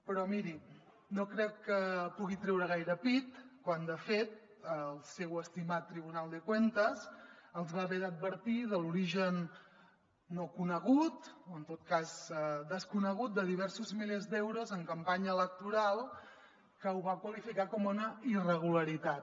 però mirin no crec que pugui treure gaire pit quan de fet el seu estimat tribunal de cuentas els va haver d’advertir de l’origen no conegut o en tot cas desconegut de diversos milers d’euros en campanya electoral que ho va qualificar com una irregularitat